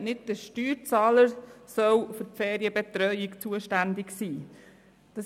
Nicht der Steuerzahler soll für die Ferienbetreuung zuständig sein.